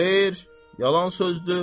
Xeyr, yalan sözdür.